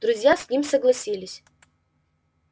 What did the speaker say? друзья с ним согласились